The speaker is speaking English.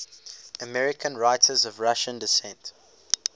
american writers of russian descent